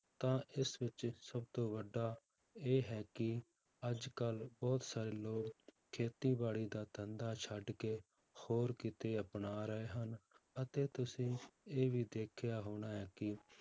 ਤਾਂ ਇਸ ਵਿੱਚ ਸਭ ਤੋਂ ਵੱਡਾ ਇਹ ਹੈ ਕਿ ਅੱਜ ਕੱਲ੍ਹ ਬਹੁਤ ਸਾਰੇ ਲੋਕ ਖੇਤੀਬਾੜੀ ਦਾ ਧੰਦਾ ਛੱਡ ਕੇ ਹੋਰ ਕਿੱਤੇ ਅਪਣਾ ਰਹੇ ਹਨ, ਅਤੇ ਤੁਸੀਂ ਇਹ ਵੀ ਦੇਖਿਆ ਹੋਣਾ ਹੈ ਕਿ